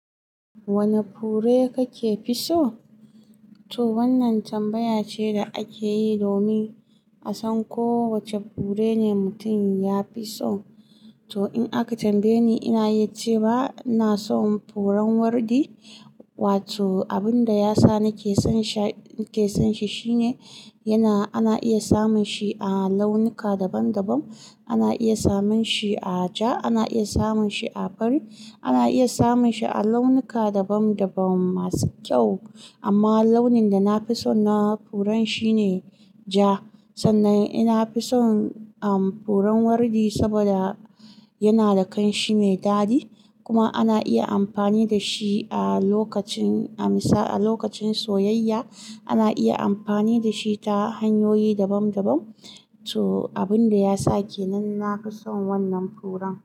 Wane fure kake so? To wannan tambaya ce da ake yi domin a san ko wace fure ne mutum ya fi so. To in aka tambaye ni, ina yi ce ba, ina son furen wardi. Wato abin da ya sa nake son shi, nake son shi shine yana, ana iya samun shi a launuka daban daban. Ana iya samun shi a ja, ana iya samun shi a fari, ana iya samun shi a launuka daban daban masu kyau. Amma launin da na fi so na furen shine ja. Sannan ina fi son, um, furen wardi saboda yana da kanshi mai dadi kuma ana iya amfani da shi a lokacin, a lokacin soyayya. Ana iya amfani da shi ta hanyoyi daban daban. To abin da ya sa kenan ina son wannan furen.